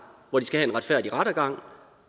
hvor de skal have en retfærdig rettergang